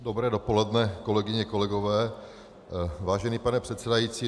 Dobré dopoledne, kolegyně, kolegové, vážený pane předsedající.